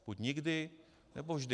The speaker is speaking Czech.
Buď nikdy, nebo vždy.